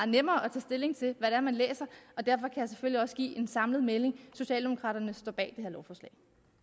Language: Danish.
nemmere at tage stilling til hvad man læser derfor jeg selvfølgelig også give en samlet melding socialdemokraterne står bag det her lovforslag